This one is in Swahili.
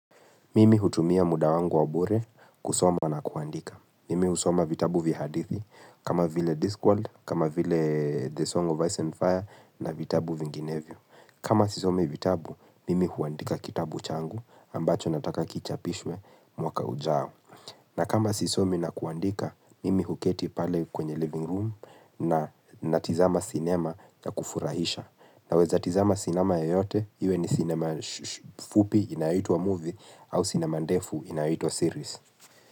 Mimi utumia muda wangu wa bure kusoma na kuandika. Mimi husoma vitabu vya hadithi, kama vile Discworld, kama vile The Song of Ice and Fire na vitabu vinginevyo. Kama sisomi vitabu, mimi huandika kitabu changu ambacho nataka kichapishwe mwaka ujao. Na kama sisomi na kuandika, mimi huketi pale kwenye living room na tizama sinema na ya kufurahisha. Na weza tizama sinema yoyote, iwe ni sinema fupi inaitwa movie au sinema ndefu inayoitwa series.